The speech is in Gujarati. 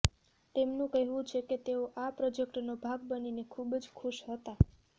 તેમનું કહેવું છે કે તેઓ આ પ્રોજેક્ટનો ભાગ બનીને ખૂબ જ ખુશ હતા